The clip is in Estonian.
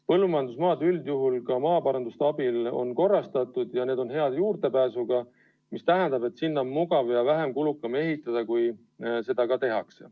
Põllumajandusmaad on üldjuhul ka maaparanduse abil korrastatud ja need maatükid on hea juurdepääsuga, mis tähendab, et sinna on mugav ja vähem kulukam ehitada, kui seda tehakse.